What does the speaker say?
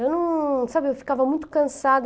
Eu não, sabe, eu ficava muito cansada.